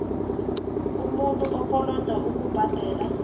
umuntu okoloda ukubhadela